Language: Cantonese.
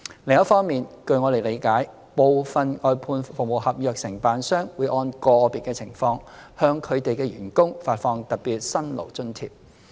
另一方面，據我們理解，部分外判服務合約承辦商會按個別情況，向他們的員工發放特別辛勞津貼。